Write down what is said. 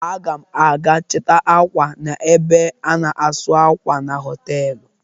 Aga m aga chịta ákwà m n'ebe a na-asụ akwa na họtelụ.